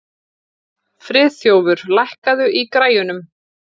Friðþjófur, lækkaðu í græjunum.